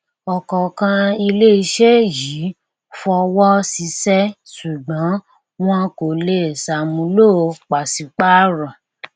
ọkọọkan ilé iṣẹ yìí fọwọ ṣiṣẹ ṣùgbón wọn kò lè ṣàmúlò pàṣípàrọ